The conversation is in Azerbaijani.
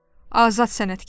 Azad sənətkaram.